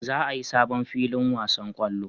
Za a yi sabon filin wasan kwallo